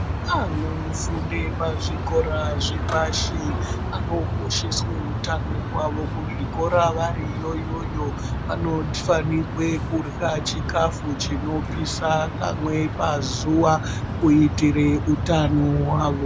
Anofunda pazvikora zvepashi anokosheswa hutano hwavo kuzvikora vari Kona iyoyo vanofanirwa kurya chikafu chinopisa kamwe pazuwa kuitira utano hwawo.